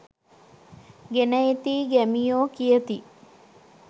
ගෙන එතියි ගැමියෝ කියති